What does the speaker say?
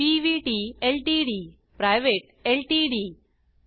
PVT LTD private LTD P